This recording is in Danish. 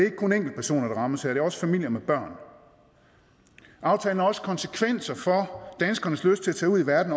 ikke kun enkeltpersoner der rammes her det er også familier med børn aftalen har også konsekvenser for danskernes lyst til at tage ud i verden